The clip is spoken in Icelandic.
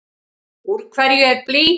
Úr hverju er blý?